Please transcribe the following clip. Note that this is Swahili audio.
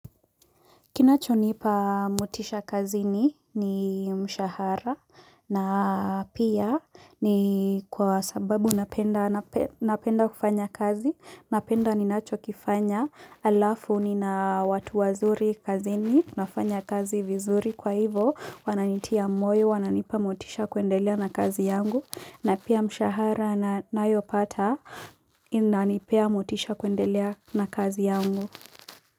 Kinacho nipa motisha kazini ni mshahara na pia ni kwa sababu napenda napenda kufanya kazi napenda ninacho kifanya alafu ni na watu wazuri kazini nafanya kazi vizuri kwa hivo wananitia moyo wananipa motisha kuendelea na kazi yangu na pia mshahara nayo pata inanipea motisha kuendelea na kazi yangu.